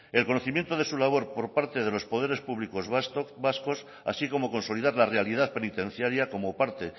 el conocimiento de su labor por parte de los poderes públicos vascos así como consolidar la realidad penitenciaria como parte